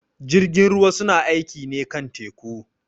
Jirgin ruwa su na aiƙi ne kan teku.